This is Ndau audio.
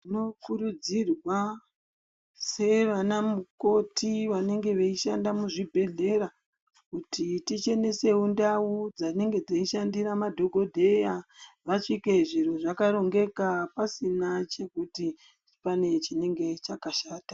Tinokurudzirwa seana mukoti vanoshanda muzvibhehlera kuti tichenesewo ndau dzinenge dzishandira madhokodheya vasvike zviro zvakarongeka pasina chekuti panenge chinenge chakashata.